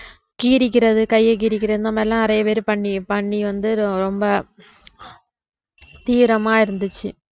கீறிக்கிறது கையை கீறிக்கிறது இந்த மாதிரி எல்லாம் நிறைய பேரு பண்ணி பண்ணி வந்து ரொம்ப தீவிரமா இருந்துச்சு